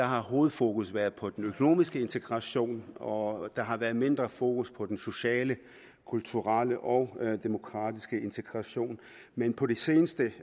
har hovedfokus været på den økonomiske integration og der har været mindre fokus på den sociale kulturelle og demokratiske integration men på det seneste